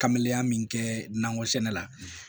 Kameya min kɛ nakɔ sɛnɛ la